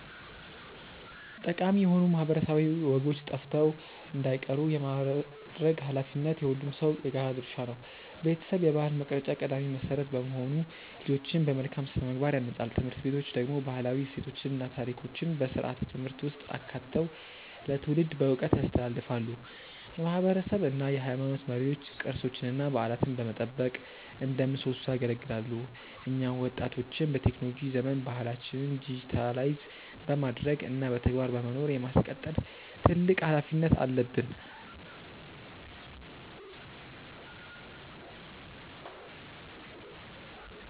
ጠቃሚ የሆኑ ማህበረሰባዊ ወጎች ጠፍተው እንዳይቀሩ የማድረግ ኃላፊነት የሁሉም ሰው የጋራ ድርሻ ነው። ቤተሰብ የባህል መቅረጫ ቀዳሚ መሰረት በመሆኑ ልጆችን በመልካም ስነ-ምግባር ያንጻል። ትምህርት ቤቶች ደግሞ ባህላዊ እሴቶችን እና ታሪኮችን በስርዓተ-ትምህርት ውስጥ አካተው ለትውልድ በዕውቀት ያስተላልፋሉ። የማህበረሰብ እና የሃይማኖት መሪዎች ቅርሶችንና በዓላትን በመጠበቅ እንደ ምሰሶ ያገለግላሉ። እኛ ወጣቶችም በቴክኖሎጂ ዘመን ባህላችንን ዲጂታይዝ በማድረግ እና በተግባር በመኖር የማስቀጠል ትልቅ ኃላፊነት አለብን።